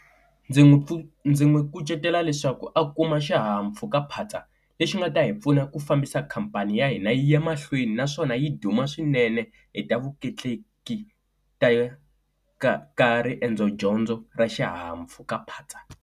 Ndzi n'wi pfuna ndzi n'wi kucetela leswaku a kuma xihahampfhukaphatsa lexi nga ta hi pfuna ku fambisa khampani ya hina yi ya mahlweni naswona yi duma swinene hi ta vutleketleki ta ka ka riendzo dyondzo ra xihahampfhukaphatsa.